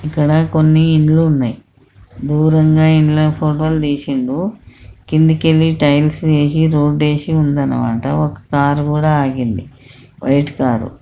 ఇక్కడ కొన్నిఇండ్లు ఉన్నయ్. దూర్ ఉన్న ఇండ్ల ఫోటో లు తీసిండు కిందికెళ్ళి టైల్స్ వేసి రోడ్డు వేసి ఉందన్నమాట ఒక కారు కూడా ఆగింది వైట్ కార్ .